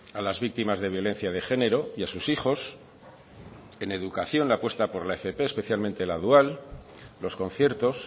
a las víctimas de violencia de género y a sus hijos en educación la apuesta por la fp especialmente la dual los conciertos